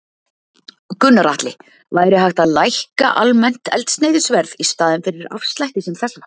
Gunnar Atli: Væri hægt að lækka almennt eldsneytisverð í staðinn fyrir afslætti sem þessa?